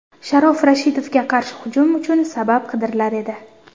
Sharof Rashidovga qarshi hujum uchun sabab qidirilar edi.